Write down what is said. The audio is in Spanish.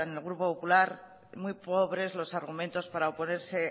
en el grupo popular muy pobres los argumentos apara oponerse